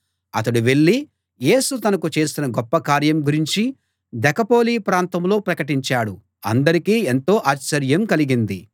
అతడు వెళ్ళి యేసు తనకు చేసిన గొప్ప కార్యం గురించి దెకపొలి ప్రాంతంలో ప్రకటించాడు అందరికీ ఎంతో ఆశ్చర్యం కలిగింది